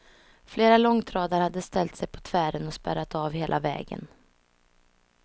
Flera långtradare hade ställt sig på tvären och spärrat av hela vägen.